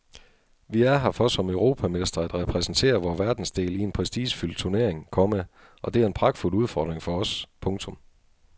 Vi er her for som europamestre at repræsentere vor verdensdel i en prestigefyldt turnering, komma og det er en pragtfuld udfordring for os. punktum